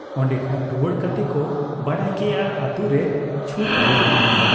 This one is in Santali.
ᱚᱱᱰᱮ ᱠᱷᱚᱱ ᱨᱩᱣᱟᱹᱲ ᱠᱟᱛᱮ ᱠᱚ ᱵᱟᱰᱟᱭ ᱠᱮᱜ ᱟ ᱟᱹᱛᱩ ᱨᱮ ᱪᱷᱩᱛ ᱦᱩᱭ ᱮᱱᱟ ᱾